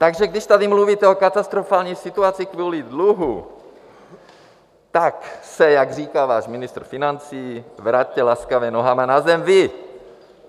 Takže když tady mluvíte o katastrofální situaci kvůli dluhu, tak se, jak říká váš ministr financí, vraťte laskavě nohama na zem vy!